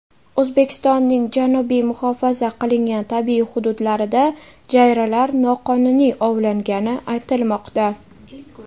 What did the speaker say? O‘zbekistonning janubiy muhofaza qilingan tabiiy hududlarida jayralar noqonuniy ovlangani aytilmoqda.